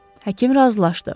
Həkim razılaşdı.